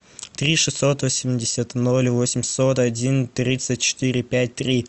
три шестьсот восемьдесят ноль восемьсот один тридцать четыре пять три